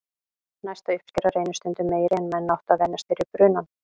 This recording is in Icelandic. Næsta uppskera reynist stundum meiri en menn áttu að venjast fyrir brunann.